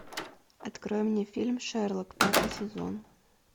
открой мне фильм шерлок пятый сезон